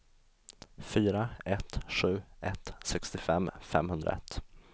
fyra ett sju ett sextiofem femhundraett